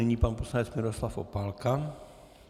Nyní pan poslanec Miroslav Opálka.